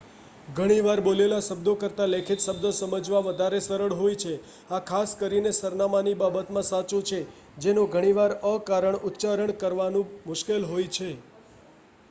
ઘણીવાર બોલેલા શબ્દો કરતાં લેખિત શબ્દો સમજવા વધારે સરળ હોય છે આ ખાસ કરીને સરનામાની બાબતમાં સાચું છે જેનો ઘણીવાર અકારણ ઉચ્ચાર કરવાનું મુશ્કેલ હોય છે